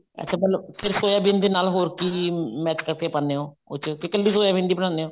ਅੱਛਾ ਮਤਲਬ ਫ਼ੇਰ ਸੋਇਆਬੀਨ ਦੇ ਨਾਲ ਹੋਰ ਕੀ match ਕਰਕੇ ਪਾਉਂਦੇ ਹੋ ਉਹ ਚ ਕੇ ਕੱਲੀ ਸੋਇਆਬੀਨ ਦੀ ਬਣਾਉਂਦੇ ਹੋ